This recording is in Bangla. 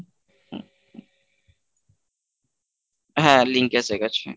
হ্যাঁ link এসে গেছে।